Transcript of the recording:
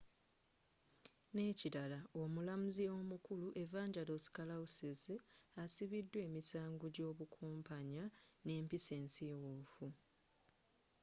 n'ekirala omulamuzi omukulu evangelos kalousis asibiddwa emisango gy'obukumpanya n'empisa ensiiwuufu